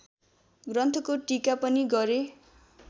ग्रन्थको टीका पनि गरे।